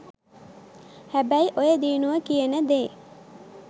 හැබැයි ඔය දියුනුව කියන දේ